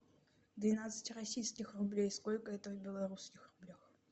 двенадцать российских рублей сколько это в белорусских рублях